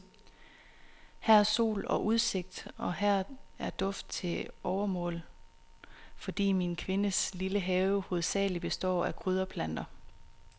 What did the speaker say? Her er sol og udsigt, og her er duft til overmål, fordi min kvindes lille have hovedsagelig består af krydderplanter.